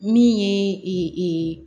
Min ye